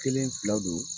Kelen fila don